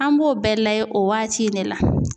An b'o bɛɛ lajɛ o waati in ne la.